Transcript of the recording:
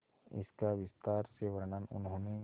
इसका विस्तार से वर्णन उन्होंने